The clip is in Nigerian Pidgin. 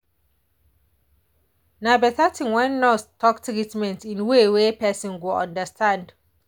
na better thing when nurse talk treatment in way wey person go understand.